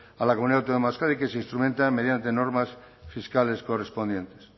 a la comunidad autónoma de euskadi que se instrumentan mediante normas fiscales correspondientes